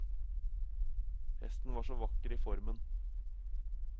Hesten var så vakker i formen.